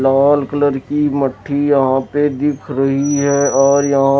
लाल colour की मठ्ठी यहाँ पे दिख रही है और यहाँ --